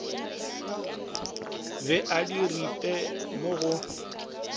be a diripe mo go